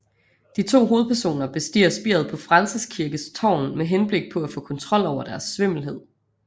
De to hovedpersoner bestiger spiret på Frelsers Kirkes tårn med henblik på at få kontrol over deres svimmelhed